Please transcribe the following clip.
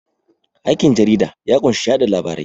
Aikin jarida ya kunshi yaɗa labarai